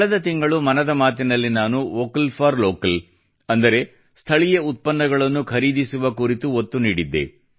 ಕಳೆದ ತಿಂಗಳು ಮನದ ಮಾತಿನಲ್ಲಿ ನಾನು ವೋಕಲ್ ಫಾರ್ ಲೋಕಲ್ ಅಂದರೆ ಸ್ಥಳೀಯ ಉತ್ಪನ್ನಗಳನ್ನು ಖರೀದಿಸುವ ಕುರಿತು ಒತ್ತು ನೀಡಿದ್ದೆ